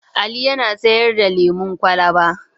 Ali yana sayar da lemon kwalaba.